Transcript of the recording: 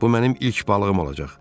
Bu mənim ilk balığım olacaq.